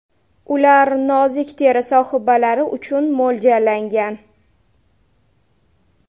Ular nozik teri sohibalari uchun mo‘ljallangan.